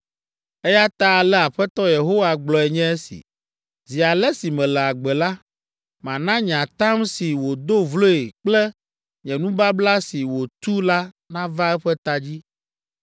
“Eya ta ale Aƒetɔ Yehowa gblɔe nye esi, ‘Zi ale si mele agbe la, mana nye atam si wòdo vloe kple nye nubabla si wòtu la nava eƒe ta dzi.